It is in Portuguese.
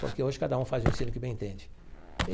Porque hoje cada um faz o ensino que bem entende.